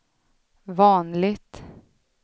vanligt